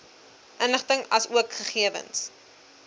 inligting asook gegewens